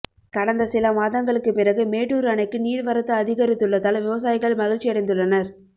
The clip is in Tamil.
கடந்த சில மாதங்களுக்கு பிறகு மேட்டூர் அணைக்கு நீர்வரத்து அதிகரித்துள்ளதால் விவசாயிகள் மகிழ்ச்சியடைந்துள்ளனர்